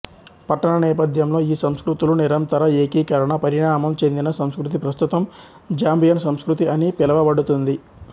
పట్టణ నేపథ్యంలో ఈ సంస్కృతుల నిరంతర ఏకీకరణ పరిణామం చెందిన సంస్కృతి ప్రస్తుతం జాంబియన్ సంస్కృతి అని పిలవబడుతుంది